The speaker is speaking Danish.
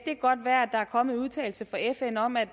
kan godt være at der er kommet en udtalelse fra fn om at